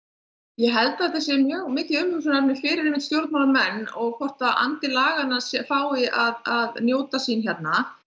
ég held að þetta sé mjög mikið umhugsunar efni fyrir stjórnmálamenn og hvort að andi laganna fái að njóta sín hérna